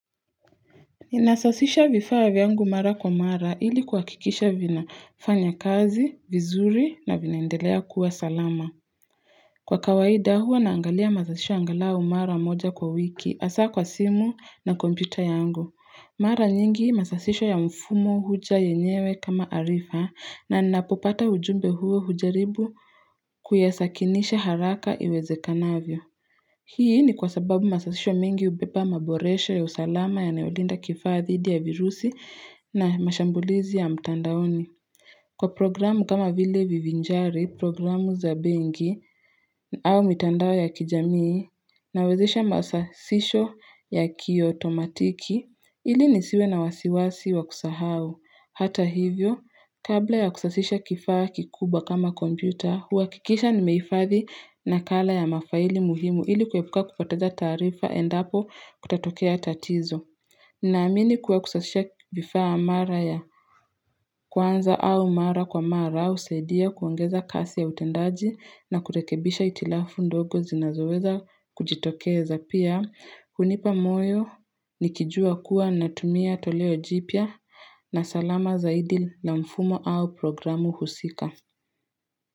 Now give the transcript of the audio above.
Inasasisha vifaa vyangu mara kwa mara ili kuhakikisha vinafanya kazi, vizuri na vinaendelea kuwa salama. Kwa kawaida huwa naangalia masasisho angalau mara moja kwa wiki, hasa kwa simu na kompyuta yangu. Mara nyingi masasisho ya mfumo huja yenyewe kama arifa na ninapopata ujumbe huo hujaribu kuyasakinisha haraka iwezekanavyo. Hii ni kwa sababu masasisho mengi hubeba maboroshe ya usalama yanayolinda kifaa dhidi ya virusi na mashambulizi ya mtandaoni. Kwa programu kama vile vivinjari, programu za benki au mitandao ya kijamii na wezisha masasisho ya kiotomatiki, ili nisiwe na wasiwasi wa kusahau. Hata hivyo, kabla ya kusasisha kifaa kikubwa kama kompyuta, huhakikisha nimeifahhi nakala ya mafaili muhimu ili kuepuka kupoteza taarifa endapo kutatokea tatizo. Naamini kuwa kusashisha vifaa mara ya kwanza au mara kwa mara husaidia kuongeza kasi ya utendaji na kurekebisha itilafu ndogo zinazoweza kujitokeza pia. Hunipa moyo nikijua kuwa natumia toleo jipya na salama zaidi na mfumo au programu husika.